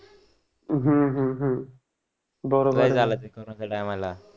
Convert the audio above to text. हं हं हं बरोबर आहे